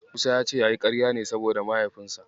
Musa ya ce yayi ƙarya ne saboda Mahaifinsa.